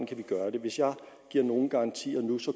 kan gøre det hvis jeg giver nogen garantier nu